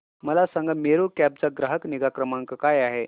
मला सांगा मेरू कॅब चा ग्राहक निगा क्रमांक काय आहे